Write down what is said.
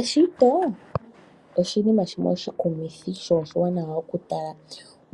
Eshito oshinima shimwe oshikumithi sho oshiwanawa okutala